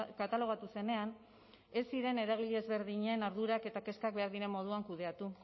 katalogatu zenean ez ziren eragile ezberdinen ardurak eta kezkak behar diren moduan kudeatu